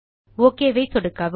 okay மீது சொடுக்கவும்